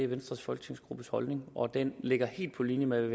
venstres folketingsgruppes holdning og den ligger helt på linje med